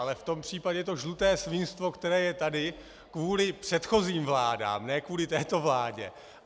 Ale v tom případě je to žluté svinstvo, které je tady kvůli předchozím vládám, ne kvůli této vládě.